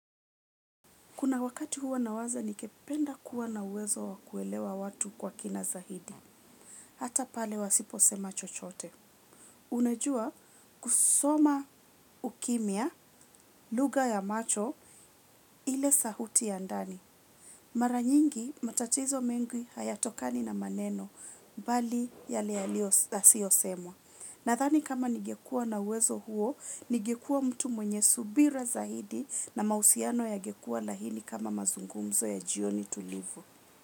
Kuna wakati huwa na waza nikependa kuwa na uwezo wakuelewa watu kwa kina za hidi. Hata pale wasipo sema chochote. Unajua kusoma ukimia, luga ya macho, ile sahuti ya ndani. Maranyingi matatizo mengi hayatokani na maneno, bali yale alio asio semwa. Na thani kama nigekua na uwezo huo, nigekua mtu mwenye subira zaidi na mausiano yagekua lahini kama mazungumzo ya jioni tulivu.